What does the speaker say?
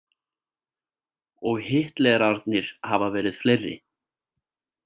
Og Hitlerarnir hafa verið fleiri.